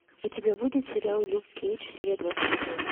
у тебя будет сериал люк кейдж серия двадцать один